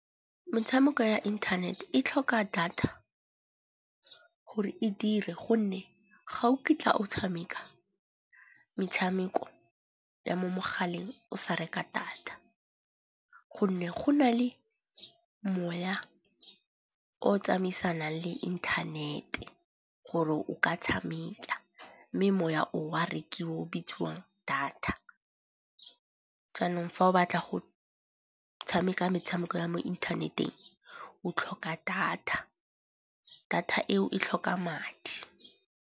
Metshameko ya internet e tlhoka data gore e dire gonne ga o kitla o tshameka metshameko ya mo mogaleng o sa reka data. Gonne go na le moya o tsamaisanang le inthanete gore o ka tshameka mme moya o a rekiwa o bitsiwang data. Jaanong fa o batla go tshameka metshameko ya mo inthaneteng o tlhoka data. Data eo e tlhoka madi.